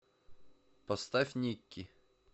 поставь никки